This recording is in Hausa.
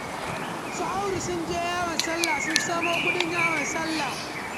Su Audu sun je yawon sallah sun samo kuɗin yawon sallah